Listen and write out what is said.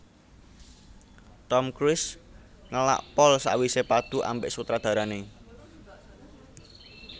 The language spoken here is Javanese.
Tom Cruise ngelak pol sakwise padu ambek sutradarane